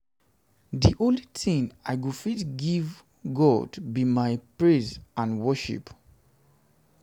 the only thing i go fit give god be my praise and my worship